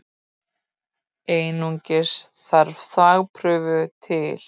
Einungis þarf þvagprufu til.